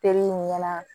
nin ɲɛna